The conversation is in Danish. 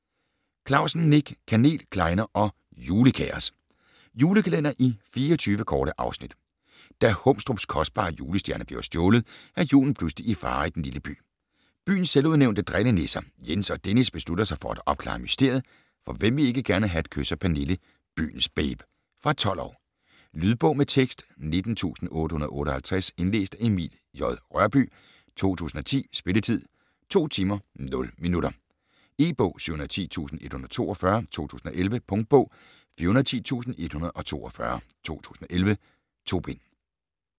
Clausen, Nick: Kanel, klejner og julekaos Julekalender i 24 korte afsnit. Da Humstrups kostbare julestjerne bliver stjålet, er julen pludselig i fare i den lille by. Byens selvudnævnte drillenisser, Jens og Dennis, beslutter sig for at opklare mysteriet, for hvem vil ikke gerne have et kys af Pernille, byens babe. Fra 12 år. Lydbog med tekst 19858 Indlæst af Emil J. Rørbye, 2010. Spilletid: 2 timer, 0 minutter. E-bog 710142 2011. Punktbog 410142 2011. 2 bind.